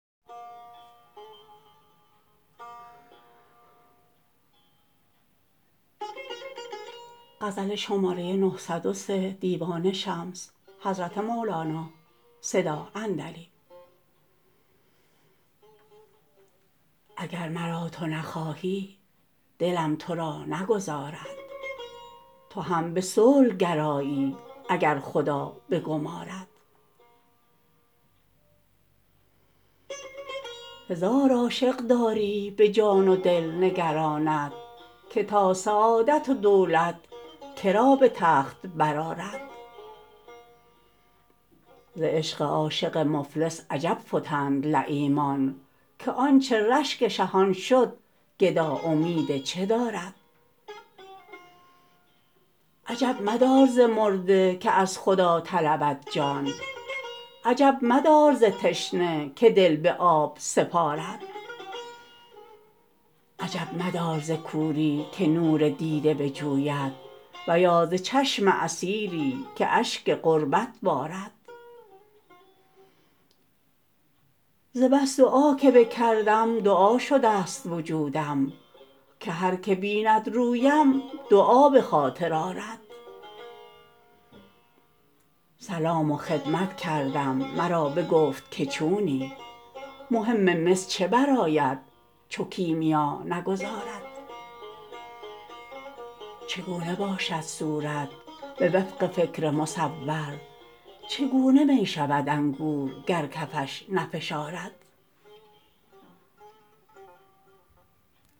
اگر مرا تو نخواهی دلم تو را نگذارد تو هم به صلح گرایی اگر خدا بگمارد هزار عاشق داری به جان و دل نگرانت که تا سعادت و دولت که را به تخت برآرد ز عشق عاشق مفلس عجب فتند لییمان که آنچ رشک شهان شد گدا امید چه دارد عجب مدار ز مرده که از خدا طلبد جان عجب مدار ز تشنه که دل به آب سپارد عجب مدار ز کوری که نور دیده بجوید و یا ز چشم اسیری که اشک غربت بارد ز بس دعا که بکردم دعا شدست وجودم که هر که بیند رویم دعا به خاطر آرد سلام و خدمت کردم مرا بگفت که چونی مهم مس چه برآید چو کیمیا نگذارد چگونه باشد صورت به وفق فکر مصور چگونه می شود انگور گر کفش نفشارد